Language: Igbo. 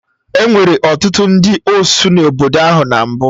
Enwere ọtụtụ ndị osụ n'obodo ahụ na mbụ